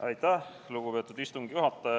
Aitäh, lugupeetud istungi juhataja!